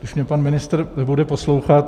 Když mě pan ministr bude poslouchat...